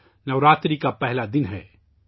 کل نوراتری کا پہلا دن ہے